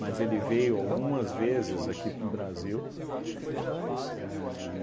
Mas ele veio algumas vezes aqui para o Brasil. A